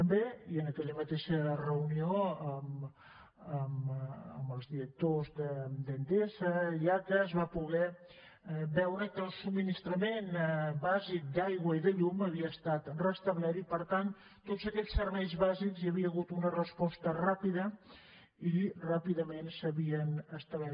també en aquella mateixa reunió amb els directors d’endesa i l’aca es va poder veure que el subministrament bàsic d’aigua i de llum havia estat restablert i per tant en tots aquells serveis bàsics hi havia hagut una resposta ràpida i ràpidament s’havien restablert